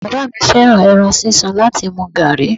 Bàbá mi fẹ́ràn ẹran sísun láti mu gààrí.